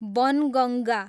Banganga